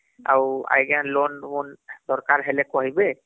ଆଉ ଆଂଜ୍ଞା loan ବୋନ ଦରକାର ହେଲେ କହିବେ